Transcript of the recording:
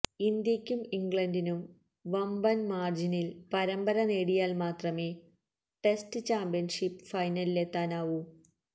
ഇന്ത്യക്കും ഇംഗ്ലണ്ടിനും വമ്പന് മാര്ജിനില് പരമ്പര നേടിയാല് മാത്രമെ ടെസ്റ്റ് ചാമ്പ്യന്ഷിപ്പ് ഫൈനലിലെത്താനാവു